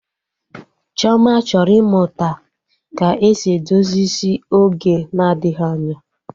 Chioma chọrọ ịmụta ka esi edozi isi oge na-adịghị anya